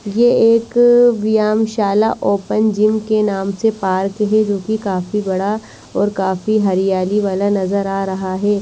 ये एक व्यायामशाला ओपन जिम के नाम से पार्क हे जो की काफी बड़ा और काफी हरियाली वाला नजर आ रहा है।